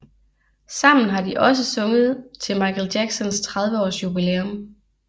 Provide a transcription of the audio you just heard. Sammen har de også sunget til Michael Jacksons 30 års jubilæum